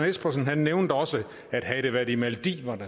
espersen nævnte også at havde det været i maldiverne